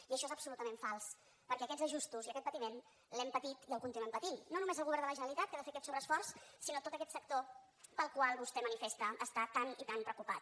i això és absolutament fals perquè aquests ajustos i aquest patiment l’hem patit i el continuem patint no només el govern de la generalitat que ha de fer aquest sobreesforç sinó tot aquest sector pel qual vostè manifesta estar tan i tan preocupat